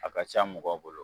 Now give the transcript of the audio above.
A ka ca mɔgɔw bolo